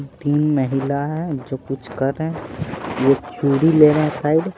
तीन महिला है जो कुछ कर रहे हैं ये चूड़ी ले रहे हैं साइड --